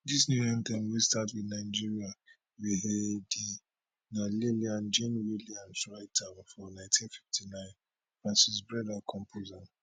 dis new anthem wey start wit nigeria we hail thee na lillian jean williams write am for ninety fifty nine and francis brenda compose am